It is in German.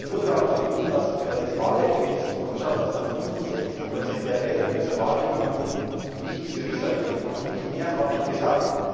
Ich habe nur darauf verwiesen, dass, wenn man sich das Wahlergebnis anschaut, 65 der Wähler, die zur Wahl gegangen sind, nicht Syriza gewählt haben. Nicht mehr habe ich gesagt.